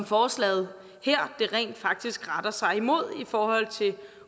forslaget her rent faktisk retter sig mod i forhold til